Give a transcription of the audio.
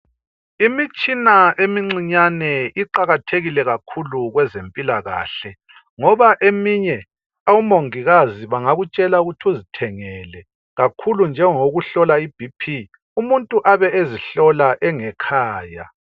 Imitshina emincane iqakathekile kakhulu kwezempilakahle ngoba eminye omongikazi bengakutshela ukuthi uzithengele kakhulu njengowokuhlola iBP umuntu abe ezihlola engekhaya.